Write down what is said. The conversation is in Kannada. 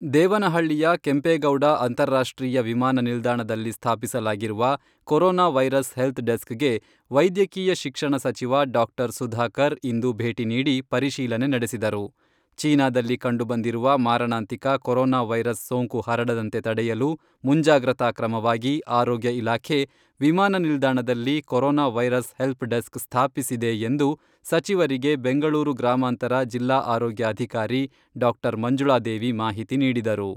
ದೇವನಹಳ್ಳಿಯ ಕೆಂಪೇಗೌಡ ಅಂತಾರಾಷ್ಟ್ರೀಯ ವಿಮಾನ ನಿಲ್ದಾಣದಲ್ಲಿ ಸ್ಥಾಪಿಸಲಾಗಿರುವ ಕರೋನಾ ವೈರಸ್ ಹೆಲ್ತ್ ಡೆಸ್ಕ್ಗೆ ವೈದ್ಯಕೀಯ ಶಿಕ್ಷಣ ಸಚಿವ ಡಾ.ಸುಧಾಕರ್ ಇಂದು ಭೇಟಿ ನೀಡಿ, ಪರಿಶೀಲನೆ ನಡೆಸಿದರು.ಚೀನಾದಲ್ಲಿ ಕಂಡುಬಂದಿರುವ ಮಾರಣಾಂತಿಕ ಕರೋನಾ ವೈರಸ್ ಸೋಂಕು ಹರಡದಂತೆ ತಡೆಯಲು, ಮುಂಜಾಗ್ರತಾ ಕ್ರಮವಾಗಿ ಆರೋಗ್ಯ ಇಲಾಖೆ ವಿಮಾನ ನಿಲ್ದಾಣದಲ್ಲಿ ಕರೋನಾ ವೈರಸ್ ಹೆಲ್ಪಡೆಸ್ ಸ್ಥಾಪಿಸಿದೆ ಎಂದು ಸಚಿವರಿಗೆ ಬೆಂಗಳೂರು ಗ್ರಾಮಾಂತರ ಜಿಲ್ಲಾ ಆರೋಗ್ಯಾಧಿಕಾರಿ ಡಾ.ಮಂಜುಳಾದೇವಿ ಮಾಹಿತಿ ನೀಡಿದರು.